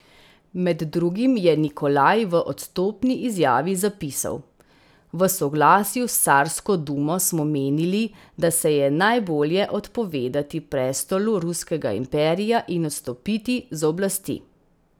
Med drugim je Nikolaj v odstopni izjavi zapisal: 'V soglasju s carsko dumo smo menili, da se je najbolje odpovedati prestolu ruskega imperija in odstopiti z oblasti.